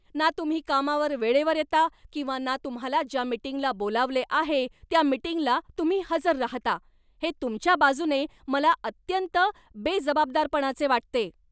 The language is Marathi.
ना तुम्ही कामावर वेळेवर येता किंवा ना तुम्हाला ज्या मीटिंगला बोलावले आहे त्या मीटिंगला तुम्ही हजर राहता, हे तुमच्या बाजूने मला अत्यंत बेजबाबदारपणाचे वाटते.